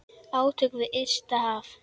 Átök við ysta haf.